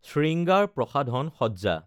শৃঙ্গাৰ প্ৰসাধন সজ্জা